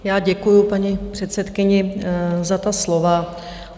Já děkuji, paní předsedkyně, za ta slova.